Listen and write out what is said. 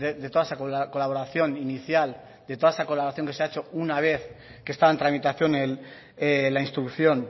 de toda esa colaboración inicial de toda esa colaboración que se ha hecho una vez que estaba en tramitación la instrucción